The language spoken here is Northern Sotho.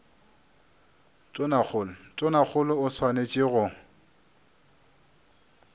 tonakgolo tonakgolo o swanetše go